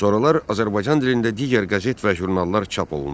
Sonralar Azərbaycan dilində digər qəzet və jurnallar çap olundu.